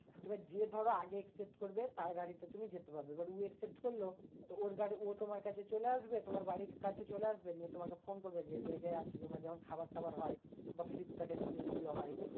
এবার যে ধরো আগে expect করবে তার গাড়িতে তুমি যেতে পারবে। এবার উ expect করলো তো ওর গাড়ি ও তোমার কাছে চলে আসবে তোমার বাড়ির কাছে চলে আসবে। নিয়ে তোমাকে ফোন করবে যে, এই জায়গায় আছি। তোমার যেমন খাবার টাবার হয় বা ফ্লিপকার্ডের জিনিসগুলো হয়